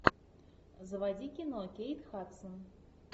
заводи кино кейт хадсон